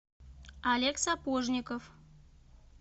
олег сапожников